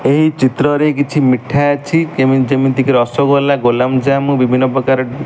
ଏହି ଚିତ୍ର ରେ କିଛି ମିଠା ଅଛି। କେମିତି ଯେମିତି ରସୋଗୋଲା ଗୋଲମଜାମୁ ବିଭିନ୍ନ ପ୍ରକାର।